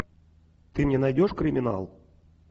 ты мне найдешь криминал